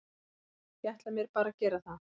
Ég ætla mér bara að gera það.